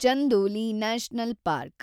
Chandoli national park